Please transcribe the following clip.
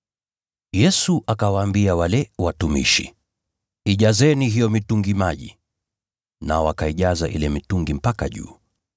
Yesu akawaambia wale watumishi, “Ijazeni hiyo mitungi maji.” Nao wakaijaza ile mitungi mpaka juu.